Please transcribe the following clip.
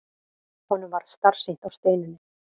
Honum varð starsýnt á Steinunni.